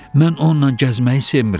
Mən onunla gəzməyi sevmirəm.